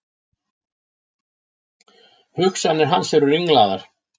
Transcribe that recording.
Hugsanir hans eru ringlaðar.